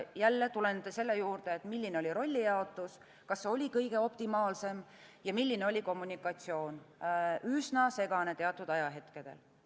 Jälle tulen selle juurde, milline oli rollijaotus, kas see oli optimaalne ja milline oli kommunikatsioon – üsna segane teatud ajahetkedel.